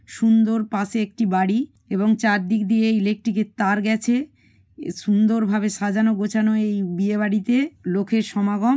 সুন্দর পাশে একটি বাড়ি এবং চারদিক দিয়ে ইলেকট্রিক -এর তার গেছে সুন্দর ভাবে সাজানো গোছানো এই বিয়ে বাড়িতে লোকের সমাগম।